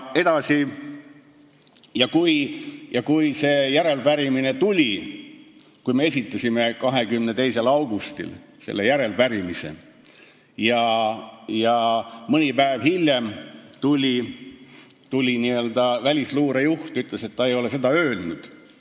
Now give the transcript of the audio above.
Edasi, kui me olime 22. augustil esitanud selle järelepärimise, siis mõni päev hiljem ütles välisluure juht, et ta ei ole seda öelnud.